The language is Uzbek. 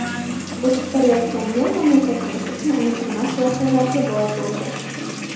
O‘tib borayotgan yil mamlakatimiz uchun unutilmas voqealarga boy bo‘ldi.